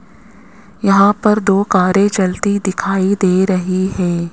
यहां पर दो कारे चलती दिखाई दे रहे है।